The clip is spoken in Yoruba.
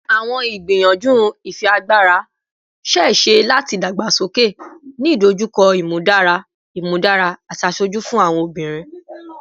Awọn igbiyanju ifiagbara ṣee ṣe lati dagbasoke, ni idojukọ imudara imudara ati aṣoju fun awọn obinrin